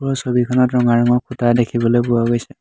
এই ছবিখনত ৰঙা ৰঙৰ খুঁটা দেখিবলৈ পোৱা গৈছে।